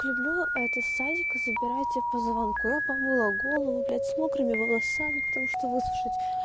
люблю это с садика забирайте по звонку я помыла голову блядь с мокрыми волосами по тому что высушить